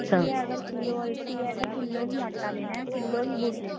ਅਗਰ ਕਿੱਲੋ ਅਲਸੀ ਹੈ ਤਾਂ ਕਿੱਲੋ ਹੀ ਆਟਾ ਲੇਣਾ ਕਿੱਲੋ ਹੀ ਗੁੜ ਲੇਣਾ